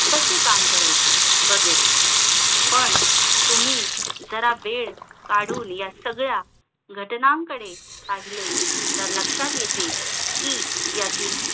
कसे काम करायचे वगैरे पण तुम्ही जरा वेळ काढून या सगळ्या घटनांकडे पहिले तर लक्षात येते कि यातील